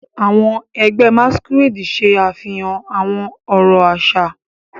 Àwọn ẹgbẹ́ Masquerade ṣe àfihàn àwọn ọ̀rọ̀ àṣà.